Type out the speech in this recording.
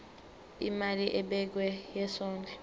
imali ebekiwe yesondlo